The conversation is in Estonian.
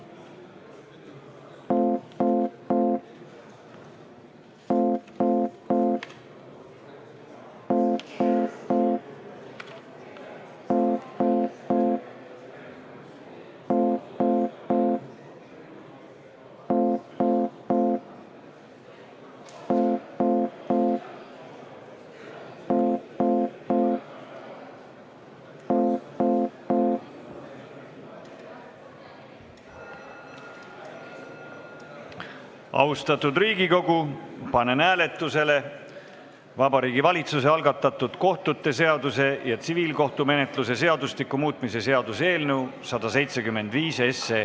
Austatud Riigikogu, panen hääletusele Vabariigi Valitsuse algatatud kohtute seaduse ja tsiviilkohtumenetluse seadustiku muutmise seaduse eelnõu 175.